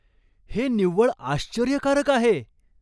हे निव्वळ आश्चर्यकारक आहे!